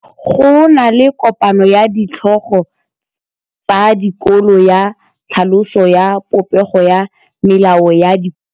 Go na le kopanô ya ditlhogo tsa dikolo ya tlhaloso ya popêgô ya melao ya dikolo.